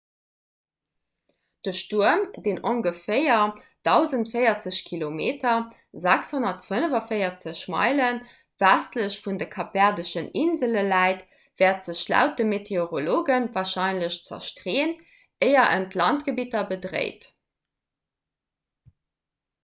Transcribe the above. de stuerm deen ongeféier 1040 km 645 meile westlech vun de kapverdeschen insele läit wäert sech laut de meteorologe warscheinlech zerstreeën éier en d'landgebidder bedréit